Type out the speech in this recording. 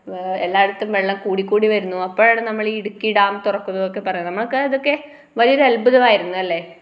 ഏ എല്ലായിടത്തും വെള്ളം കൂടി കൂടി വരുന്നു അപ്പഴാണ് നമ്മളീ ഇടുക്കി ഡാം തുറക്കുന്നുന്നൊക്കെ പറയുന്നു നമ്മളൊക്കെ ഇതൊക്കെ വലിയൊരു അദ്ത്ഭുമായിരുന്നു അല്ലെ